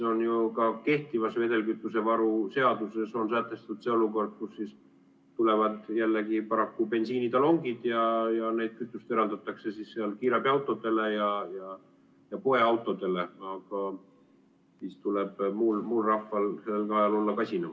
Ka kehtivas vedelkütusevaru seaduses on sätestatud see olukord, kus tulevad jällegi paraku bensiinitalongid ja kütust eraldatakse kiirabiautodele ja poeautodele, ning siis tuleb muul rahval olla sel ajal kasinam.